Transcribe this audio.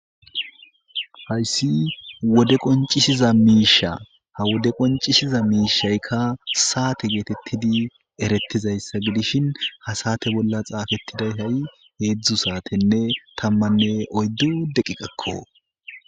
Haysi wode qonc'c'isiza mishsha ha wode qonc'c'isiza mishayka sata getetidi eretizaysa gidishin ha sate bolla xafetida hedzdzu satenne tamanne oydu deqeqako